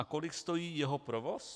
A kolik stojí jeho provoz?